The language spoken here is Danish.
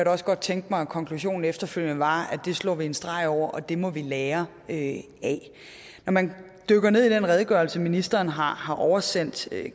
også godt tænke mig at konklusionen efterfølgende var at det slår vi en streg over og at det må vi lære af når man dykker ned i den redegørelse ministeren har har oversendt